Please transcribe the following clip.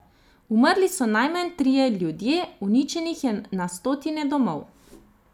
Umrli so najmanj trije ljudje, uničenih je na stotine domov.